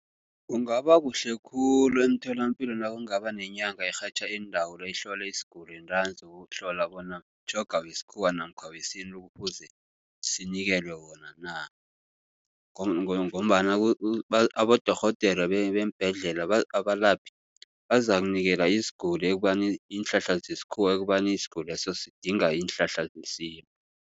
Kungaba kuhle khulu emtholapilo nakungaba nenyanga erhatjha iindawula ihlole isiguli ntanzi ukuhlola bona mtjhoga wesikhuwa namkha wesintu ekufuze sinikelwe wona na. Ngombana abodorhodere beembhedlela abalaphi bazakunikela isiguli ekubani iinhlahla zesikhuwa ekubani isiguli leso sidinga iinhlahla zesintu.